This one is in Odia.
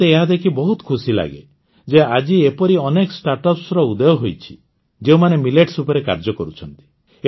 ମୋତେ ଏହା ଦେଖି ବହୁତ ଖୁସି ଲାଗେ ଯେ ଆଜି ଏପରି ଅନେକ ଷ୍ଟାଟ୍ଅପ୍ସର ଉଦୟ ହୋଇଛି ଯେଉଁମାନେ ମିଲେଟ୍ସ ଉପରେ କାର୍ଯ୍ୟ କରୁଛନ୍ତି